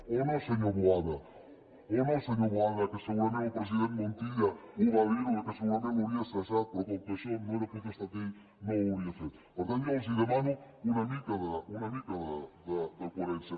o no senyor boada o no senyor boada que segurament el president montilla ho va dir que segurament l’hauria cessat però com que això no era potestat d’ell no ho hauria fet per tant jo els demano una mica de coherència